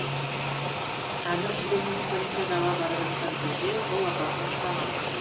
әмір сүлейменов олимпиадаға бара жатқан кезде жол апатына ұшыраған